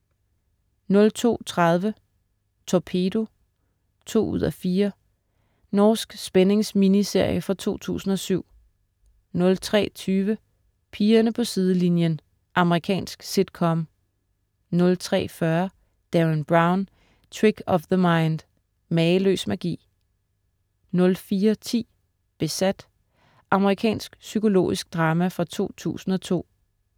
02.30 Torpedo 2:4. Norsk spændings-miniserie fra 2007 03.20 Pigerne på sidelinjen. Amerikansk sitcom 03.40 Derren Brown: Trick of The Mind. Mageløs magi! 04.10 Besat. Amerikansk psykologisk drama fra 2002